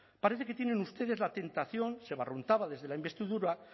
parece que tienen ustedes la tentación se barruntaba desde la investidura